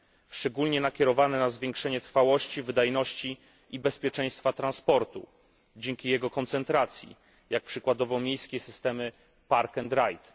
Szczególnie nakierowane na zwiększenie trwałości, wydajności i bezpieczeństwa transportu dzięki jego koncentracji, jak przykładowo miejskie systemy park and ride